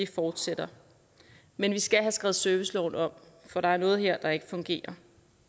fortsætter men vi skal have skrevet serviceloven om for der er noget her der ikke fungerer